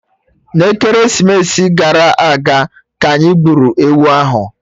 N'ekeresimesi gara aga, ka anyị gburu ewu ahụ